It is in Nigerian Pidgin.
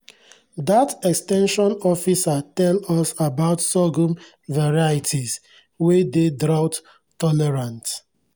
dat ex ten sion officer tell us about sorghum varieties wey dey drought-tolerant